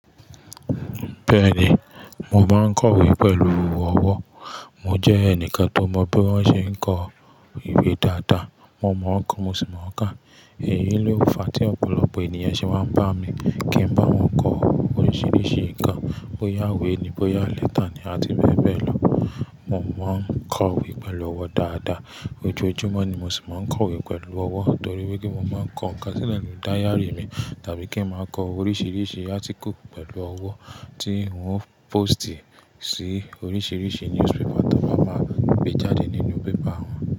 Bẹ́ẹ̀ni, mo máa ń kọ̀wé pẹ̀lú ọwọ́. Mo jẹ́ ẹnìkan tó mọ bí wón ṣe ń kọ ìwé dáadáa. Mo mọ̀o ko, mo sì mọ̀ọ́ kà. Èyí ló fa tí ọ̀pọ̀lọpọ̀ ènìyàn ṣe wá ń bá mi kí n bá ọhun kọ oríṣiríṣi ǹkan. Bóyá ìwé ni, bóyá lẹ́tà ni àti bẹ́ẹ̀ bẹ́ẹ̀ lọ. Mo máa ń kọ̀wé pẹ̀lú ọwọ́ dáadáa. Ojoojúmọ́ ni mo sì máa ń kọ̀wé pẹ̀lú ọwọ́ torí wípé mo máa ń kọ ǹkan síle n nu dairy mi tàbí kí n máa kọ oríṣiríṣi article pẹ̀lú ọwọ́ tí ń ó póstì sí oríṣiríṣi newspaper tí wón máa máa gbé jáde nínú paper wọn.